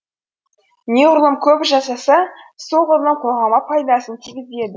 неғұрлым көп жасаса солғұрлым қоғамға пайдасын тигізеді